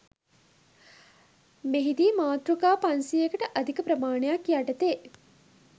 මෙහිදී මාතෘකා පන්සියයකට අධික ප්‍රමාණයක් යටතේ